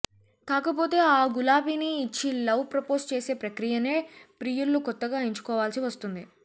కాకపోతే ఆ గులాబీని ఇచ్చి లవ్ ప్రపోజ్ చేసే ప్రక్రియనే ప్రియుళ్ళు కొత్తగా ఎంచుకోవాల్సి వస్తుంది